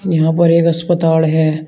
यहां पर एक अस्पताड़ है।